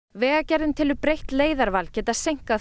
vegagerðin telur breytt leiðarval geta seinkað